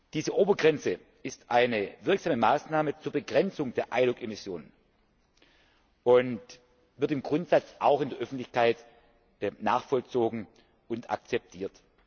Diese Obergrenze ist eine wirksame Maßnahme zur Begrenzung der ILUC Emissionen und wird im Grundsatz auch in der Öffentlichkeit nachvollzogen und akzeptiert.